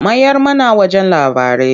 Mayar mana wajen labarai.